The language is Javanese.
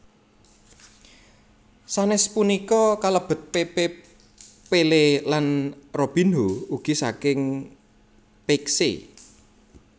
Sanes punika kalebet Pepe Pelé lan Robinho ugi saking Peixe